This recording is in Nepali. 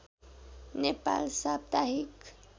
नेपाल साप्ताहिक